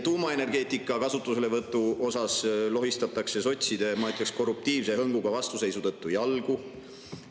Tuumaenergeetika kasutuselevõtul lohistatakse sotside, ma ütleksin, korruptiivse hõnguga vastuseisu tõttu jalgu.